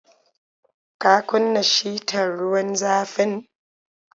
Ka kunna shitar ruwan zafin?